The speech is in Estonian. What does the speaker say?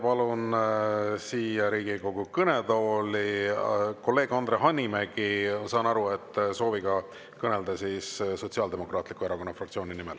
Palun siia Riigikogu kõnetooli kolleeg Andre Hanimäe, kes, ma saan aru, soovib kõneleda Sotsiaaldemokraatliku Erakonna fraktsiooni nimel.